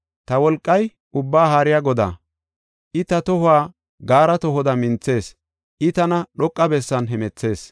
Ta wolqay Ubbaa Haariya Godaa; I ta tohuwa gaara tohoda minthees; I tana dhoqa bessan hemethees.